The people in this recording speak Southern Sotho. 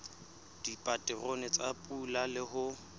dipaterone tsa pula le ho